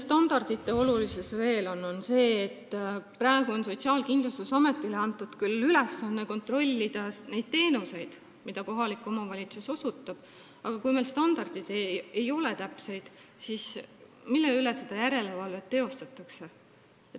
Standardid on olulised veel selle poolest, et praegu on Sotsiaalkindlustusametile antud küll ülesanne kontrollida neid teenuseid, mida kohalik omavalitsus osutab, aga kui standardid ei ole täpsed, siis mille üle järele valvata?